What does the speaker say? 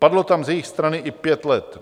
Padlo tam z jejich strany i pět let.